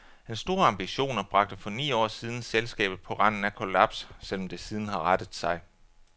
Hans store ambitioner bragte for ni år siden selskabet på randen af kollaps, selv om det siden har rettet sig.